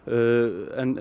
en